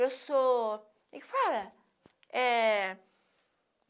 Eu sou, como é que fala? É